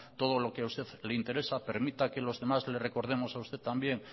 todo lo que a usted le interesa permita que los demás le recordemos a usted también